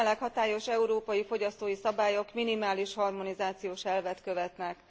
A jelenleg hatályos európai fogyasztói szabályok minimális harmonizációs elvet követnek.